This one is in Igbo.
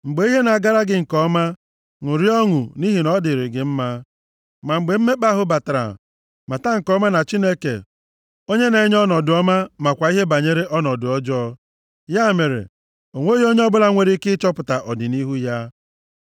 Mgbe ihe na-agara gị nke ọma, ṅụrịa ọṅụ, nʼihi ọ dịrị gị mma, ma mgbe mmekpa ahụ batara, mata nke ọma na Chineke onye na-enye ọnọdụ ọma makwa ihe banyere ọnọdụ ọjọọ. Ya mere, o nweghị onye ọbụla nwere ike ịchọpụta ọdịnihu ya.